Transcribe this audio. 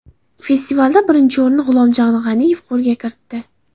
Festivalda birinchi o‘rinni G‘ulomjon G‘aniyev qo‘lga kiritdi.